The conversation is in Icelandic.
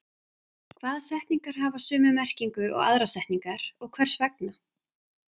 Hvaða setningar hafa sömu merkingu og aðrar setningar og hvers vegna?